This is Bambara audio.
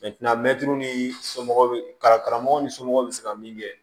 ni somɔgɔw kalan karamɔgɔ ni somɔgɔw be se ka min kɛ